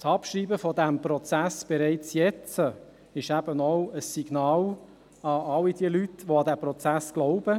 Das Abschreiben dieses Prozesses bereits jetzt wäre eben auch ein Signal an all die Leute, die an diesen Prozess glauben;